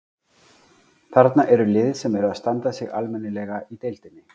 Þarna eru lið sem eru að standa sig almennilega í deildinni.